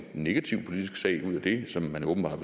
negativ politisk sag ud af det som man åbenbart